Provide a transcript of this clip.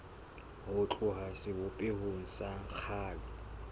ho tloha sebopehong sa kgale